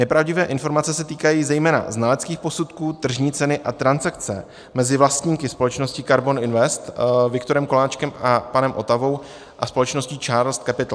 Nepravdivé informace se týkají zejména znaleckých posudků, tržní ceny a transakce mezi vlastníky společnosti KARBON INVEST, Viktorem Koláčkem a panem Otavou a společností Charles Capital.